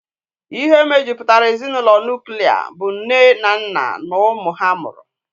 Ihe mejupụtara ezinụlọ nuklia bụ nne na nna na ụmụ ha mụrụ.